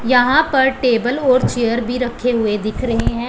यहां पर टेबल और चेयर भी रखे हुए दिख रहे हैं।